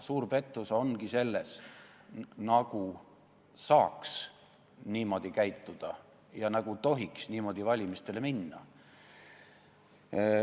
Suur pettus ongi selles, nagu saaks niimoodi käituda ja nagu tohiks niimoodi valimistele minna.